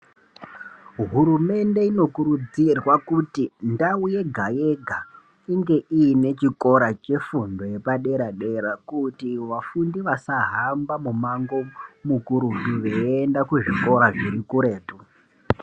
Hurumende inokurudzirwa kuti ndau yega yega inge inochikora chefundo yepadera dera kuti vafundi vasaramba mumango mukurutu veienda kuzvikora zviri kuretu.